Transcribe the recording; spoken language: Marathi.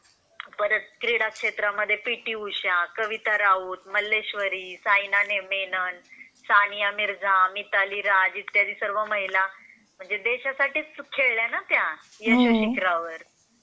परत क्रीडा क्षेत्रामध्ये पी टी उषा, कविता राऊत, मल्लेश्वरी, साईना मेनन, सानिया मिर्झा, मिताली राज इत्यादी सर्व महिला म्हणजे देशासाठीच खेळल्या ना त्या क्रीडा क्षेत्रावर.